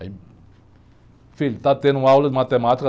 Aí, filho, está tendo aula de matemática?